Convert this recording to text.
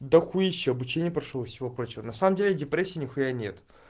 дохуища обучения прошёл и всего прочего на самом деле депрессии нихуя нет